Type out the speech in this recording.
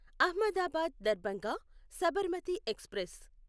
Ahmedabad Darbhanga Sabarmati express